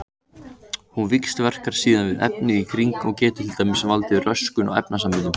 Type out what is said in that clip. Hún víxlverkar síðan við efnið í kring og getur til dæmis valdið röskun á efnasamböndum.